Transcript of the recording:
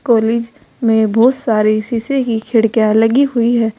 College में बहोत सारी शीशे की खिड़कियां लगी हुई है।